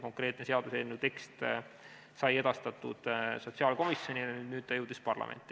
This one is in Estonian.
Konkreetne seaduseelnõu tekst sai edastatud sotsiaalkomisjoni ja ta jõudis parlamenti.